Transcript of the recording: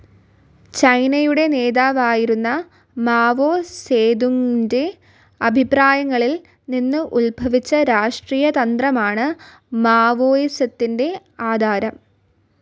ചൈനയുടെ നേതാവായിരുന്ന മാവോ സേതുങിൻ്റെ അഭിപ്രായങ്ങളിൽ നിന്ന് ഉത്ഭവിച്ച രാഷ്ട്രീയതന്ത്രമാണ് മാവോയിസത്തിൻ്റെ ആധാരം.